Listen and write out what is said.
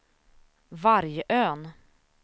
Vargön